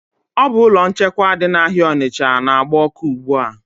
Ọ bu ụlọ nchekwa dị na áhiá Onicha n'agba ọkụ ugbua